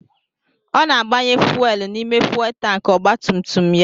Ọ na-agbanye fuuel n'ime fuuel tankị ọgbatumtum ya.